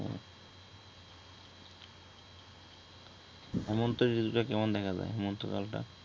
হেমন্তের জিনিষগুলা কেমন দেখা যায় হেমন্তকালটা